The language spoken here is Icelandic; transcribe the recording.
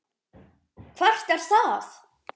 Hvert er það?